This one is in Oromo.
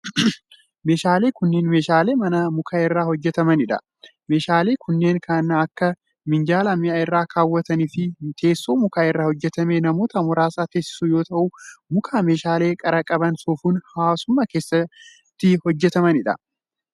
Meeshaaleen kunneen meeshaalee manaa muka irraa hojjatamanii dha. Meeshaaleen kunneen kan akka:minjaala mi'a irraa kaawwatan fi teessoo muka irraa hojjatame namoota muraasa teesisu yoo ta'u, muka meeshaalee qara qabaniin soofuun hawaasuma keessatti hojjataman.